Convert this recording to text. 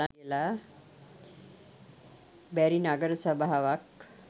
බැරි නගර සභාවක්.